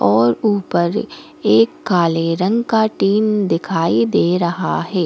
और ऊपर एक काले रंग का टीन दिखाई दे रहा है।